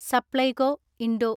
Supplyco (Indo